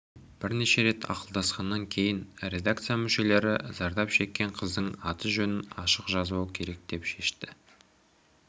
бірнеше рет ақылдасқаннан кейін редакция мүшелері зардап шеккен қыздың аты-жөнін ашық жазбау керек деп шешті